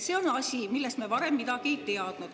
See on asi, millest me varem midagi ei teadnud.